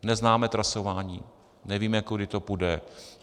Neznáme trasování, nevíme, kudy to půjde.